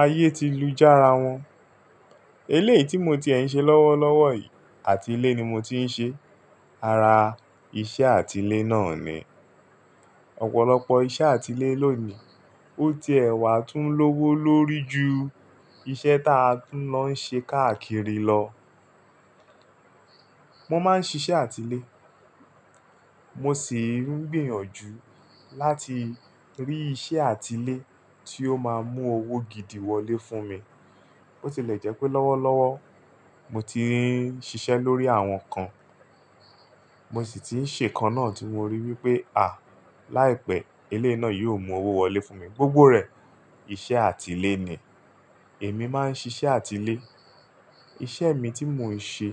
Ayé ti lu jára wọn. Eleyii tí mo ti ẹ̀ ń ṣe lọ́wọ́lọ́wọ́ yìí àti ilé ni mo ti ń ṣe, ara iṣẹ́ àti ilé náà ni. Ọ̀pọ̀lọpọ̀ iṣẹ́ àti ilé lónìí, ó ti ẹ̀ wà tún lówó lórí ju iṣẹ́ ta tún lọ ń ṣe káàkiri lọ. Mo máa ń ṣiṣẹ́ àti ilé, mo sì ń gbìyànjú láti rí iṣẹ́ àti ilé tí ó máa mú owó gidi wọlé fún mi. Bó ti lẹ̀ jẹ́ pé lọ́wọ́lọ́wọ́ mo ti ń ṣiṣẹ́ lórí àwọn kan, mo sì ti ń ṣe kan náà tí mo rí wípé à, láìpẹ́ eleyii náà yóò mú owó wọlé fún mi, gbogbo rẹ̀ iṣẹ́ àti ilé ni. Èmi máa ń ṣiṣẹ́ àti ilé, iṣẹ́ mi tí mo ń ṣe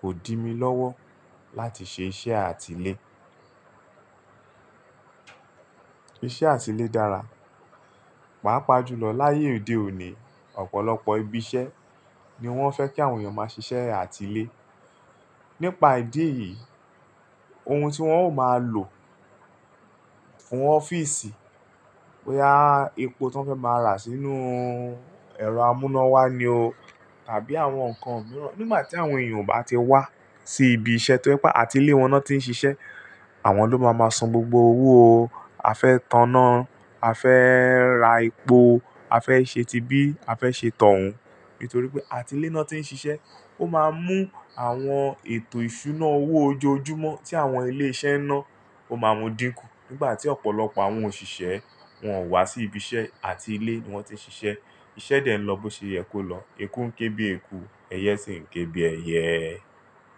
kò di mí lọ́wọ́ láti ṣe iṣẹ́ àti ilé. Iṣẹ́ àti ilé dára, pàápàá jùlọ láyé òde òní, ọ̀pọ̀lọpọ̀ ibi iṣẹ́ ni wọ́n fẹ́ kí àwọn èèyàn máa ṣiṣẹ́ àti ilé. Nípa ìdí èyí, ohun tí wọ́n ó máa lò fún ọ́fíìsì, boya epo tí wọ́n fẹ́ máa rà sínú ẹ̀rọ amúnáwá ni o. Tàbí àwọn nǹkan mìíràn. Nígbà tí àwọn èèyàn ò bá ti wá sí ibi iṣẹ́ tí o jẹ pe, àti ilé wọn náà tí ń ṣiṣẹ́, àwọn ló máa máa san gbogbo owó o. A fẹ́ taná, a fẹ́ ra epo, a fẹ́ ṣe ti bí, a fẹ́ ṣe tọ̀hún. Nítorí pé àti ilé náà tí ń ṣiṣẹ́, ó máa mú àwọn ètò ìṣúná owó ojoojúmọ́ tí àwọn ilé iṣẹ́ náà ó máa mú dínkù. Nígbà tí ọ̀pọ̀lọpọ̀ àwọn òṣìṣẹ́ wọn ò wá sí ibi iṣẹ́ àti ilé ni wọ́n ti ń ṣiṣẹ́, iṣẹ́ dẹ̀ ń lọ bó ṣe yẹ kó lọ, eku ń ké bí eku, ẹyẹ sì ń ké bí ẹyẹ.